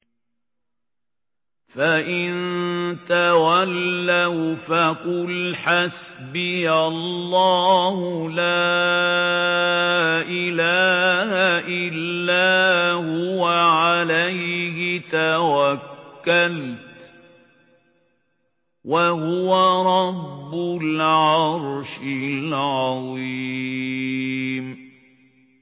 فَإِن تَوَلَّوْا فَقُلْ حَسْبِيَ اللَّهُ لَا إِلَٰهَ إِلَّا هُوَ ۖ عَلَيْهِ تَوَكَّلْتُ ۖ وَهُوَ رَبُّ الْعَرْشِ الْعَظِيمِ